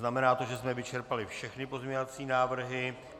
Znamená to, že jsme vyčerpali všechny pozměňovací návrhy.